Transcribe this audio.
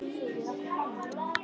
Það er tabú.